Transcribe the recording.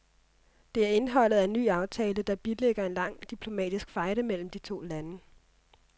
Det er indholdet af en ny aftale, der bilægger en lang diplomatisk fejde mellem de to lande.